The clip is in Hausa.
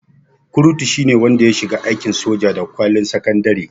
Kurutu shine wanda ya shiga aikin soja da kwalin sakandare